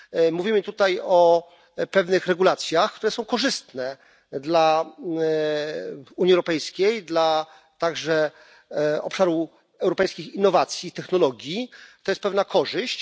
Mówimy tutaj o pewnych regulacjach, które są korzystne dla Unii Europejskiej, a także dla obszaru europejskich innowacji i technologii. To jest pewna korzyść.